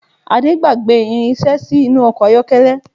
Ade gbágbè irinsé sí inú ọkọ̀ ayọ́kẹ́lẹ́